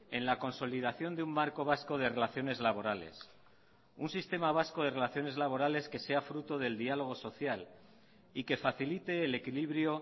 en la consolidación de un marco vasco de relaciones laborales un sistema vasco de relaciones laborales que sea fruto del diálogo social y que facilite el equilibrio